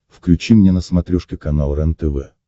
включи мне на смотрешке канал рентв